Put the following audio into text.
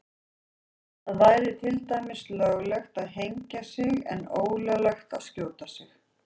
Það væri til dæmis löglegt að hengja sig en ólöglegt að skjóta sig.